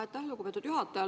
Aitäh, lugupeetud juhataja!